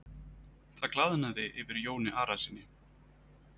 Það glaðnaði yfir Jóni Arasyni.